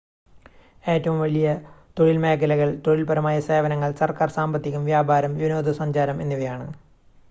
ഏറ്റവും വലിയ തൊഴിൽ മേഖലകൾ തൊഴിൽപരമായ സേവനങ്ങൾ സർക്കാർ സാമ്പത്തികം വ്യാപാരം വിനോദസഞ്ചാരം എന്നിവയാണ്